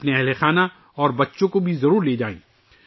اپنے گھر والوں اور بچوں کو بھی ساتھ لے جائیں